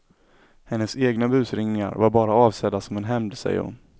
Hennes egna busringningar var bara avsedda som en hämnd, säger hon.